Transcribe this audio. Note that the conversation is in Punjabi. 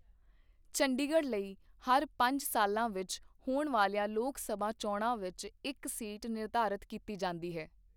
ਚੰਡੀਗੜ੍ਹ ਲਈ ਹਰ ਪੰਜ ਸਾਲਾਂ ਵਿੱਚ ਹੋਣ ਵਾਲੀਆਂ ਲੋਕ ਸਭਾ ਚੋਣਾਂ ਵਿੱਚ ਇੱਕ ਸੀਟ ਨਿਰਧਾਰਤ ਕੀਤੀ ਜਾਂਦੀ ਹੈ।